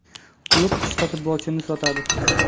Klub qishda futbolchi sotadi.